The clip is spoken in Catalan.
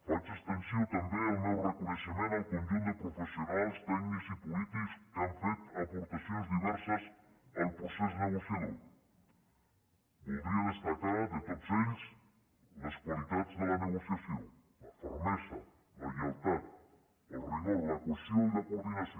faig extensiu també el meu reconeixement al conjunt de professionals tècnics i polítics que han fet aportacions diverses al procés negociador voldria destacar de tots ells les qualitats de la negociació la fermesa la lleialtat el rigor la cohesió i la coordinació